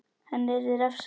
Henni yrði refsað.